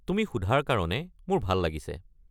তুমি সোধাৰ কাৰণে মোৰ ভাল লাগিছে।